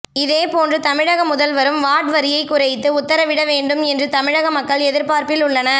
இதேபோன்று தமிழக முதல்வரும் வாட் வரியை குறைத்து உத்தரவிட வேண்டும் என்றும் தமிழக மக்கள் எதிர்பார்ப்பில் உள்ளனர்